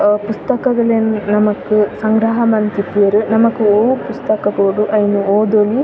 ಅ ಪುಸ್ತಕಗಲೆನ್ ನಮಕ್ ಸಂಗ್ರಹ ಮಂತಿಪ್ಪುವೆರ್ ನಮಕ್ ಒವು ಪುಸ್ತಕ ಬೋಡ್ ಅವೆನ್ ಓದೊಲಿ .